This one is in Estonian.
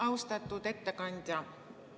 Austatud ettekandja!